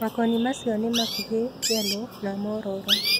Makoni macio nĩmakuhĩ ,yeloo na mororo.